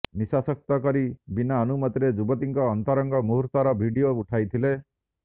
ନିଶାଶକ୍ତ କରି ବିନା ଅନୁମତିରେ ଯୁବତୀଙ୍କ ଅନ୍ତରଙ୍ଗ ମୁହୁର୍ତର ଭିଡିଓ ଉଠାଇଥିଲେ